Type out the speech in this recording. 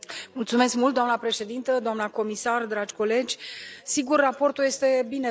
Doamnă președintă, doamnă comisar, dragi colegi, raportul este binevenit.